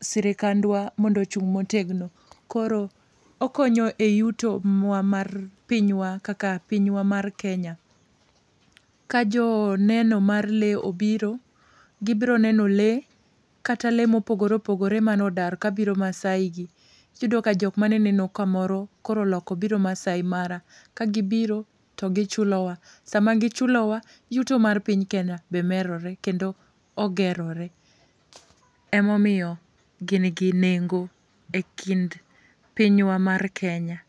sirikadwa mondo ochung' motegno. Koro, okonyo e yuto mwa mar pinywa kaka pinywa mar Kenya ka jo neno mar lee obiro, gibroneno lee, kata lee mopogore opogore manodar kabiro Maasai gi. Iyudo ka jok mane neno kamoro koro oloko biro Maasai Mara. Ka gibiro, to gichulowa, sama gichulowa, yuto mar piny Kenya be merore kendo ogerore. Emomiyo, gin gi nengo e kind pinywa mar Kenya